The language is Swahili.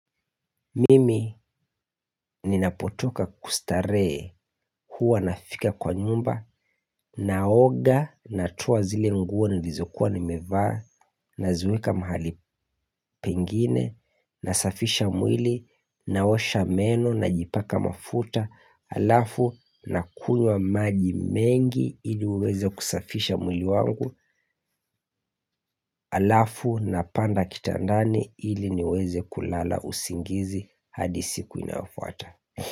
Mimi ninapotoka kustarehe kuwa nafika kwa nyumba, naoga, natoa zile nguo nilizokuwa nimivaa, naziweka mahali pengine, nasafisha mwili, naosha meno, najipaka mafuta, alafu na kunywa maji mengi ili uweze kusafisha mwili wangu, alafu napanda kitandani ili niweze kulala usingizi hadi siku inayofuata.